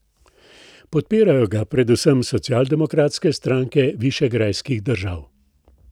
Podpirajo ga predvsem socialdemokratske stranke višegrajskih držav.